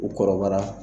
U kɔrɔbayara